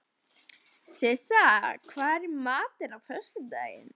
Sissa, hvað er í matinn á föstudaginn?